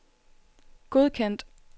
godkendt